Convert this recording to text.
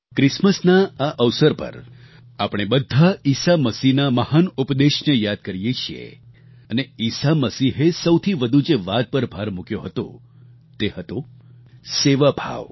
ક્રિસમસના આ અવસર પર આપણે બધા ઈસા મસીહના મહાન ઉપદેશને યાદ કરીએ છીએ અને ઈશા મસીહે સૌથી વધુ જે વાત પર ભાર મૂક્યો હતો તે હતો સેવાભાવ